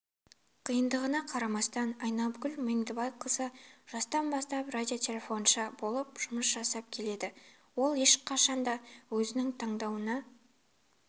қиындығына қарамастан айнагүл меңдібайқызы жастан бастап радиотелефоншы болып жұмыс жасап келеді ол ешқашанда өзінің таңдауына